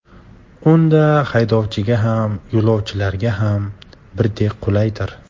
Unda haydovchiga ham, yo‘lovchilarga ham birdek qulaydir.